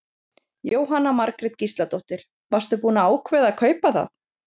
Jóhanna Margrét Gísladóttir: Varstu búinn að ákveða að kaupa það?